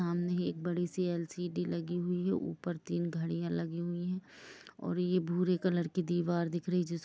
सामने ही एक बड़ी सी एल-सी-डी लगी हुई है ऊपर तीन घड़िया लगी हुई है और ये भूरे कलर की दीवार दिख रही हैं। जीस--